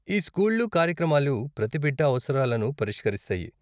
ఈ స్కూళ్ళు, కార్యక్రమాలు, ప్రతి బిడ్డ అవసరాలను పరిష్కరిస్తాయి.